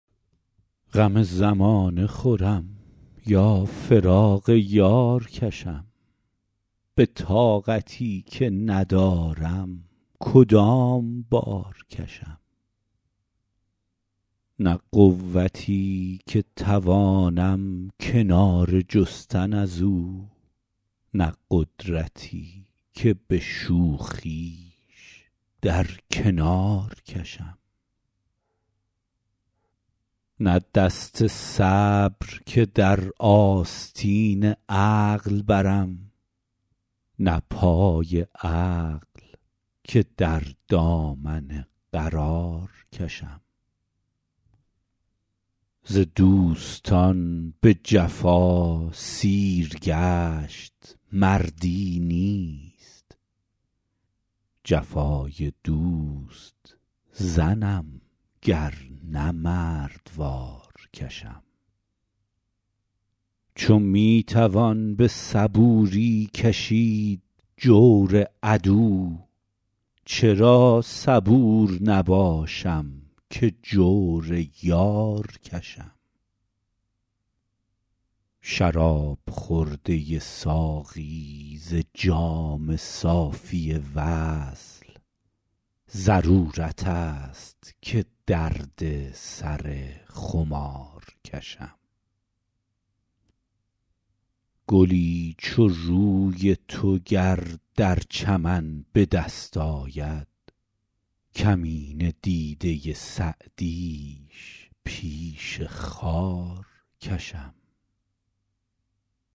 غم زمانه خورم یا فراق یار کشم به طاقتی که ندارم کدام بار کشم نه قوتی که توانم کناره جستن از او نه قدرتی که به شوخیش در کنار کشم نه دست صبر که در آستین عقل برم نه پای عقل که در دامن قرار کشم ز دوستان به جفا سیرگشت مردی نیست جفای دوست زنم گر نه مردوار کشم چو می توان به صبوری کشید جور عدو چرا صبور نباشم که جور یار کشم شراب خورده ساقی ز جام صافی وصل ضرورت است که درد سر خمار کشم گلی چو روی تو گر در چمن به دست آید کمینه دیده سعدیش پیش خار کشم